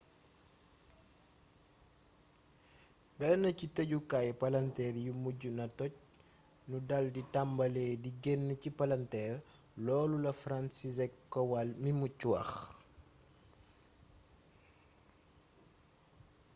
benn ci tëjukaaayu palanteer yi mujj naa toj nu daldi tàmbali di genn ci palanteer,”loolu la franciszek kowal mi mucc wax